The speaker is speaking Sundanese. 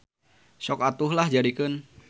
Sok atuh lah jadikeun.